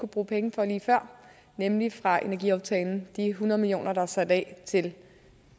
bruge penge fra lige før nemlig fra energiaftalen de hundrede million kr der er sat af til